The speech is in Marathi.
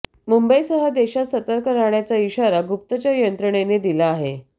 मुंबईसह देशात सर्तक राहण्याचा इशारा गुप्तचर यंत्रणेने दिला आहे